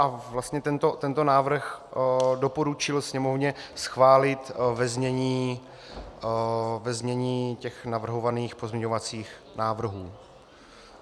A vlastně tento návrh doporučil Sněmovně schválit ve znění těch navrhovaných pozměňovacích návrhů.